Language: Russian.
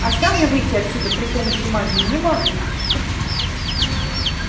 а сам я выйти отсюда при помощи магии не могу